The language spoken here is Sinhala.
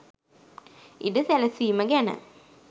ඉඩ සැලසීම ගැන